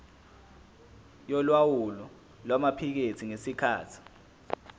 yolawulo lwamaphikethi ngesikhathi